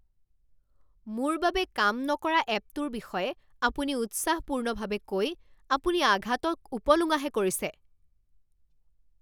মোৰ বাবে কাম নকৰা এপটোৰ বিষয়ে আপুনি উৎসাহপূৰ্ণভাৱে কৈ আপুনি আঘাতক উপলুঙাহে কৰিছে।